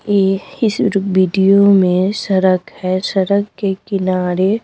ए इस रु वीडियो में सरक है सरक के किनारे--